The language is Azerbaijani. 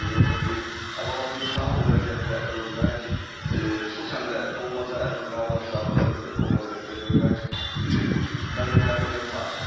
Çünki əvvəla bir insanı o vəziyyətdə görmək, xüsusən də doğmaca əziz qardaşlarını o vəziyyətdə görmək məni dərindən sarsıtdı.